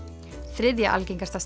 þriðja algengasta